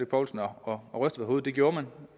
poulsen og ryster på det gjorde man